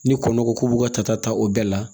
Ni kɔnɔ ko k'u b'u ka tata ta o bɛɛ la